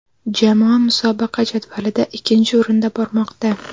Jamoa musobaqa jadvalida ikkinchi o‘rinda bormoqda.